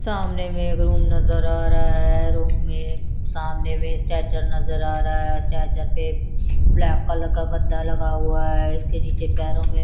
सामने में एक रूम नज़र आ रहा है रूम में सामने में स्ट्रेचर नज़र आ रहा है स्ट्रेचर पे ब्लैक कलर का गद्दा लगा हुआ है इसके निचे पैरोमे--